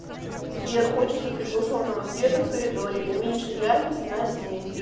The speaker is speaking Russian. сбер хочется приглушенного света в коридоре уменьши яркость на семь